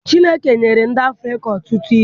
Chineke nyere ndị Afrịka ọtụtụ ihe.